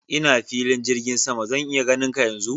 Ina filin jirgin sama, zan iya ganin ka yanzu?